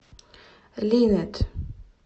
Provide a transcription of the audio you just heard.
линэд